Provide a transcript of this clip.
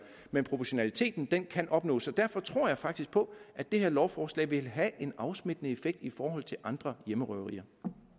men proportionaliteten kan kan opnås så derfor tror jeg faktisk på at det her lovforslag vil have en afsmittende effekt i forhold til andre hjemmerøverier